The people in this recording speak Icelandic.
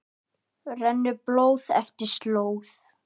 rennur blóð eftir slóð